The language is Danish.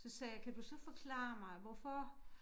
Så sagde jeg kan du så forklare mig hvorfor